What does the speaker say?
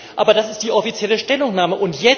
Aber das ist die offizielle Stellungnahme.